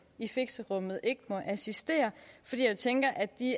i fixerummene ikke må assistere for jeg tænker at det